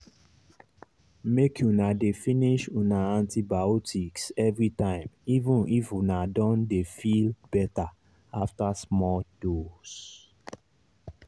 make una dey finish una antibiotics everytime even if una don dey feel better after small dose.